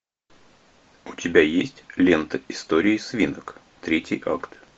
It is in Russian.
у тебя есть лента истории свинок третий акт